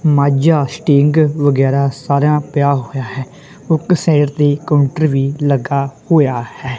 Majha seating ਵਗੈਰਾ ਸਾਰਾ ਪਿਆ ਹੋਇਆ ਹੈ ਉਗ ਸਾਈਡ ਤੇ ਕਾਉੰਟਰ ਵੀ ਲੱਗਾ ਹੋਇਆ ਹੈ।